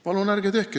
Palun ärge tehke!